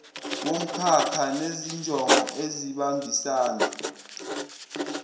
womkhakha nezinjongo ezihambisana